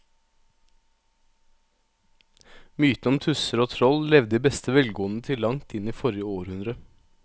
Mytene om tusser og troll levde i beste velgående til langt inn i forrige århundre.